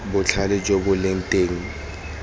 botlhale jo bo leng teng